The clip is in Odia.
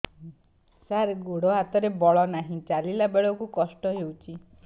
ସାର ଗୋଡୋ ହାତରେ ବଳ ନାହିଁ ଚାଲିଲା ବେଳକୁ କଷ୍ଟ ହେଉଛି